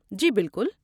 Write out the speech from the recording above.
جی بالکل!